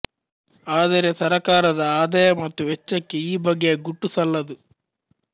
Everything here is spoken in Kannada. ಆದರೆ ಸರಕಾರದ ಆದಾಯ ಮತ್ತು ವೆಚ್ಚಕ್ಕೆ ಈ ಬಗೆಯ ಗುಟ್ಟು ಸಲ್ಲದು